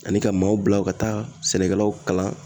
Ani ka maaw bila ka taa sɛnɛkɛlaw kalan